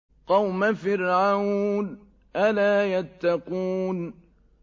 قَوْمَ فِرْعَوْنَ ۚ أَلَا يَتَّقُونَ